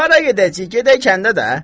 Hara gedəcəyik, gedək kəndə də.